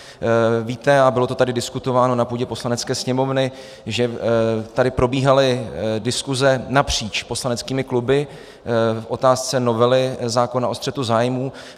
Víte - a bylo to tady diskutováno na půdě Poslanecké sněmovny - že tady probíhaly diskuse napříč poslaneckými kluby v otázce novely zákona o střetu zájmů.